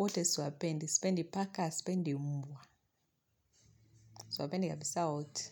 Wote siwapendi, sipendi paka, sipendi mbwa. Siwapendi kabisa wote,